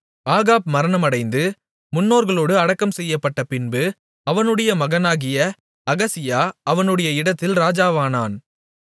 Ahab மரணமடைந்து முன்னோர்களோடு அடக்கம் செய்யப்பட்டபின்பு அவனுடைய மகனாகிய அகசியா அவனுடைய இடத்தில் ராஜாவானான்